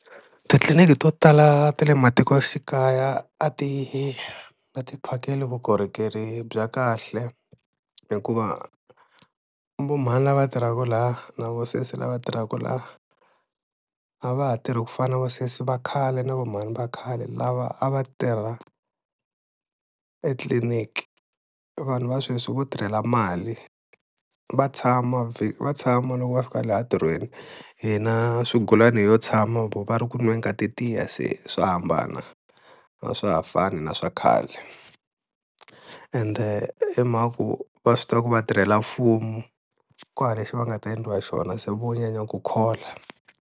Titliliniki to tala ta le matikoxikaya a ti na ti phakeli vukorhokeri bya kahle hikuva va mhani lava tirhaka laha na va sesi lava tirhaka laha, a va ha tirhi ku fana na vasesi va khale na va mhani va khale lava a va tirha etliliniki, vanhu va sweswi vo tirhela mali va tshama va tshama loko va fika laha entirhweni hina swigulani ho tshama va ri ku nweni ka ti tiya, se swa hambana a swa ha fani na swa khale ende i mhaka ku va swi tiva ku vatirhela mfumo ku hava lexi va nga ta endliwa hi xona se vo nyanya ku khola.